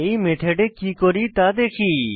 এই মেথডে কি করি তা দেখি